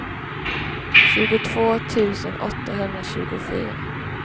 tjugotvå tusen åttahundratjugofyra